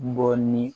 Bɔ ni